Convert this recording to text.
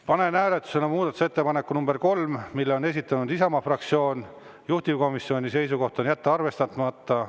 Panen hääletusele muudatusettepaneku nr 3, mille on esitanud Isamaa fraktsioon, juhtivkomisjoni seisukoht on jätta arvestamata.